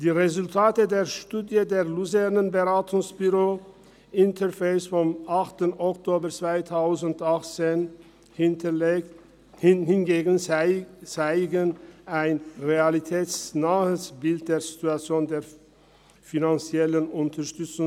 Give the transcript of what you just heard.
Die Resultate der Studie des Luzerner Beratungsbüros Interface vom 8. Oktober 2018 hingegen zeigen bei den finanziellen Unterstützungsbeiträgen an über 55-Jährige ein realitätsnahes Bild der Situation.